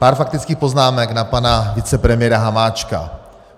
Pár faktických poznámek na pana vicepremiéra Hamáčka.